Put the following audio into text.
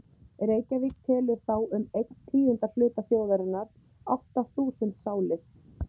Reykjavík telur þá um einn tíunda hluta þjóðarinnar, átta þúsund sálir.